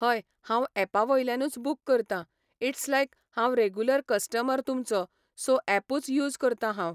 हय हांव एपा वयल्यानूच बूक करता.इट्स लायक, हांव रेगुलर कस्टमर तुमचो, सो एपूच यूज करतां हांव.